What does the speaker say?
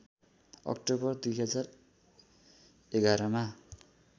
October २०११ मा